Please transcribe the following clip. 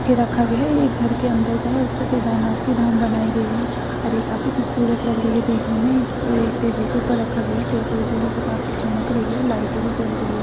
के रखा गया है ये घर के अन्दर का है इसको केदारनाथ की धाम बनाई गई है और ये काफी खूबसूरत लग रही है देखने में इसको एक टेबल के ऊपर रखा गया है टेबल जो है वो काफी चमक रही है लाइटे भी जल रही है।